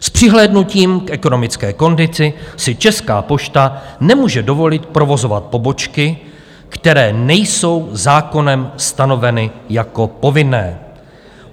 "S přihlédnutím k ekonomické kondici si Česká pošta nemůže dovolit provozovat pobočky, které nejsou zákonem stanoveny jako povinné.